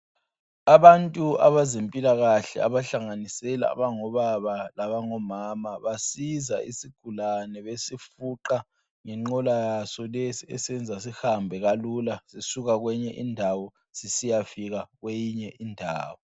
Abantu abezempilakahle, abahlanganisela, abangobaba labangomama, basiza isigulane, besifuqa ngenqola yaso le esenza sihambe kalula, sisuka kwenye indawo. Sisiya kwenye indawo.